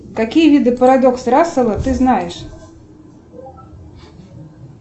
какие виды парадокс рассела ты знаешь